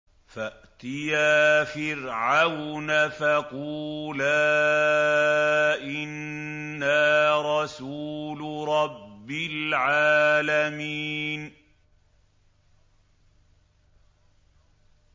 فَأْتِيَا فِرْعَوْنَ فَقُولَا إِنَّا رَسُولُ رَبِّ الْعَالَمِينَ